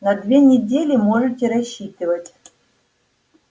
на две недели можете рассчитывать